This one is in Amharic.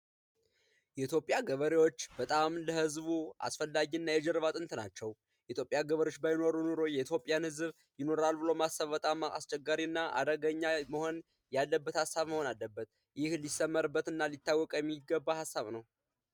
የኢትዮጵያ ገበሬዎች በጣም ለህዝቡ አስፈላጊና የጀርባ አጥንት ናቸው የኢትዮጵያ ገበሬዎች ባይኖሩ ኖሮ የኢትዮጵያ ህዝብ ይኖራል ብሎ በጣም አስቸጋሪና አደገኛ የሆነ ሀሳብ መሆን አለበት ይህ ሊሰመርበትና ሊታወቅ የሚገባ ሀሳብ ነው።